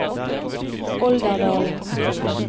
Olderdalen